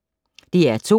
DR2